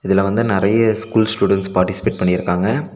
இதுல வந்து நெறைய ஸ்கூல் ஸ்டுடெண்ட்ஸ் பார்ட்டிசிபெட் பண்ணிருக்காங்க.